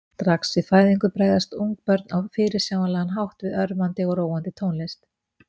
Strax við fæðingu bregðast ungbörn á fyrirsjáanlegan hátt við örvandi og róandi tónlist.